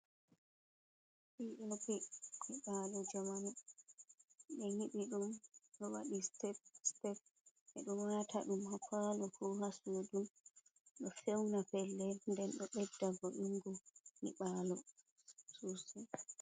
Pi o pi nyiɓalu jamanu ɓe nyibi ɗum, ɗo waɗi step step ɓeɗo wata ɗum ha palo ko hasudu. Ɗo fewna pellel nden ɗo ɓedda vo' ingo nyibalo sosai.